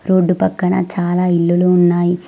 Road పక్కన చాలా ఇల్లులు ఉన్నాయి.